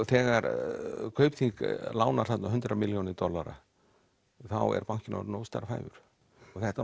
þegar Kaupþing lánar þarna hundrað milljónir dollara þá er bankinn bara óstarfhæfur þetta